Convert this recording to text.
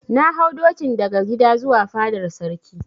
Na hau dokin daga gida zuwa fadar Sarki.